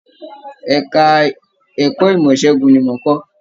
Ẹka ẹ̀kọ́ ìmọ ìṣẹgun ní mò n kọ.